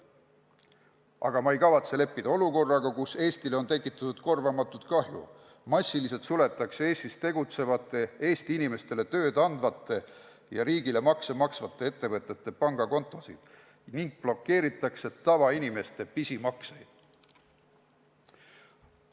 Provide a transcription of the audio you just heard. Aga ma ei kavatse leppida olukorraga, kus Eestile on tekitatud korvamatut kahju, massiliselt suletakse Eestis tegutsevate, Eesti inimestele tööd andvate ja riigile makse maksvate ettevõtete pangakontosid ning blokeeritakse tavainimeste pisimakseid.